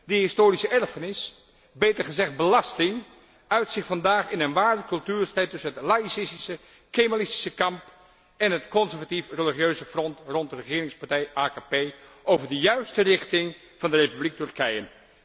Die historische erfenis beter gezegd belasting uit zich vandaag in een ware cultuurstrijd tussen het laïcistische kemalistische kamp en het conservatief religieuze front rond de regeringspartij AKP over de juiste richting van de Republiek Turkije.